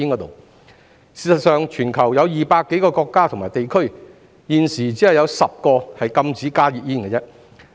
事實上，全球有200多個國家及地區，現時只有10個禁加熱煙。